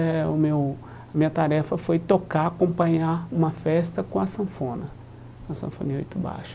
Eh o meu A minha tarefa foi tocar, acompanhar uma festa com a sanfona, com a sanfoninha oito baixo.